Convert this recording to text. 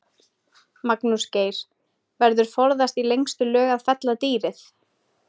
Magnús Geir: Verður forðast í lengstu lög að fella dýrið?